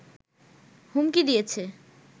হুমকি দিয়েছে